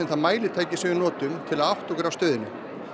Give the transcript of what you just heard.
það mælitæki sem við notum til að átta okkur á stöðunni